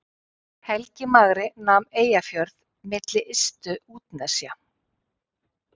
helgi magri nam eyjafjörð milli ystu útnesja